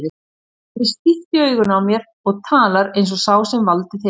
Hann horfir stíft í augun á mér og talar eins og sá sem valdið hefur.